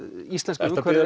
ertu að biðja